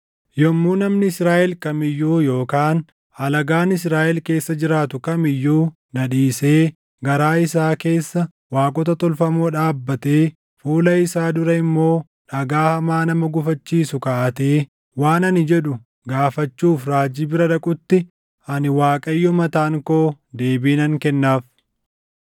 “ ‘Yommuu namni Israaʼel kam iyyuu yookaan alagaan Israaʼel keessa jiraatu kam iyyuu na dhiisee garaa isaa keessa waaqota tolfamoo dhaabbatee fuula isaa dura immoo dhagaa hamaa nama gufachiisu kaaʼatee waan ani jedhu gaafachuuf raajii bira dhaqutti, ani Waaqayyo mataan koo deebii nan kennaaf.